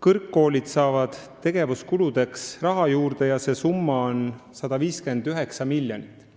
kõrgkoolid saavad tegevuskuludeks raha juurde, see summa on 159 miljonit.